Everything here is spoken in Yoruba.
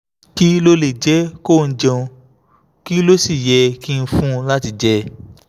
kí ló lè jẹ́ kóun jẹun kí ló sì yẹ kí n fún un láti jẹ?